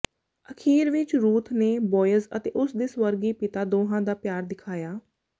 ਅਖ਼ੀਰ ਵਿਚ ਰੂਥ ਨੇ ਬੋਅਜ਼ ਅਤੇ ਉਸ ਦੇ ਸਵਰਗੀ ਪਿਤਾ ਦੋਹਾਂ ਦਾ ਪਿਆਰ ਦਿਖਾਇਆ